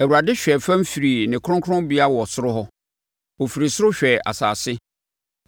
“ Awurade hwɛɛ fam firi ne kronkronbea wɔ soro hɔ; ɔfiri soro hwɛɛ asase,